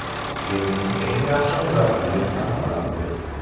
Yilning eng yaxshi murabbiyi aniqlandi.